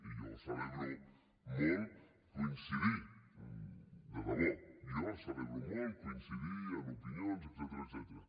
i jo celebro molt coincidir de debò jo celebro molt coincidir en opinions etcètera